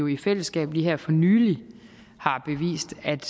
i fællesskab lige her for nylig har bevist at